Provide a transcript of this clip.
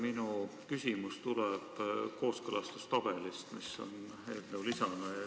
Minu küsimus tuleb kooskõlastustabeli kohta, mis on esitatud eelnõu lisana.